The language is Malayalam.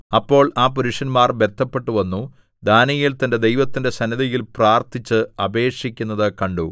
അപ്പോൾ ആ പുരുഷന്മാർ ബദ്ധപ്പെട്ട് വന്നു ദാനീയേൽ തന്റെ ദൈവത്തിന്റെ സന്നിധിയിൽ പ്രാർത്ഥിച്ച് അപേക്ഷിക്കുന്നത് കണ്ടു